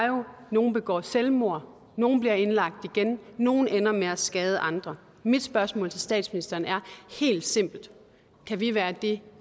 nogle begår selvmord nogle bliver indlagt igen nogle ender med at skade andre mit spørgsmål til statsministeren er helt simpelt kan vi være det